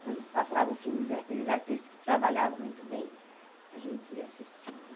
Quando passavam filmes daqueles artistas que trabalhavam muito bem, a gente ia assistindo.